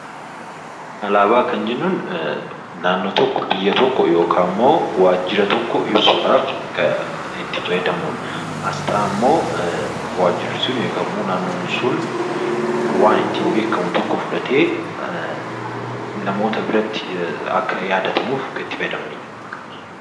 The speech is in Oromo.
Alaabaa kan jennuun naannoo tokko, biyya tokko, yookaan immoo waajjira tokko ibsuudhaaf kan itti fayyadamnu dha. Asxaa ammoo waajjirri sun yookaan ammoo naannoon sun waan ittiin beekkamu tokko fudhatee namoota biratti akka yaadatamuuf kan itti fayyadamani dha.